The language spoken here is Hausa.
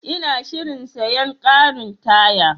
Ina shirin siyan karin taya.